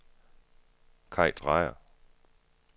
Kaj Drejer